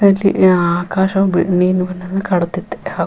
ಅಲ್ಲಿ ಆಕಾಶವು ಬಿಳಿ ನೀಲಿಬಣ್ಣವು ಕಾಡುತ್ತಿದೆ ಹಾಗು --